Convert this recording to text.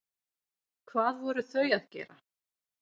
Hvað voru þau að gera?